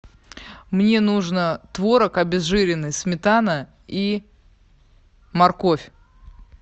мне нужно творог обезжиренный сметана и морковь